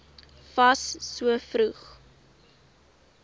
fas so vroeg